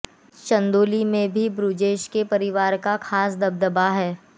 चंदौली में भी बृजेश के परिवार का खासा दबदबा है